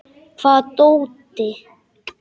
Hvaða dóti?